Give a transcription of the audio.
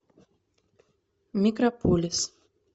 микрополис